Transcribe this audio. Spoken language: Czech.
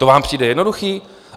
To vám přijde jednoduché?